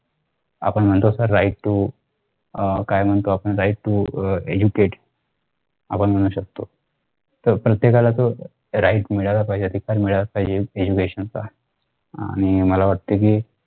आपण म्हणतो sir right to काय म्हणतो right to educate आपण म्हणू शकतो. तर प्रत्येकाला तो right मिळायला पाहिजे अधिकार मिळायला पाहिजे education चा आणि मला वाटतंय कि